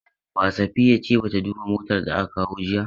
Ba, Safiya ce ba ta duba motar da aka kawo jiya.